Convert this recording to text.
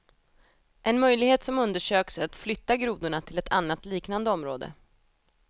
En möjlighet som undersöks är att flytta grodorna till ett annat, liknande område.